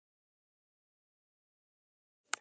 Stjáni leit við.